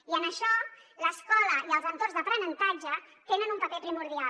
i en això l’escola i els entorns d’aprenentatge tenen un paper primordial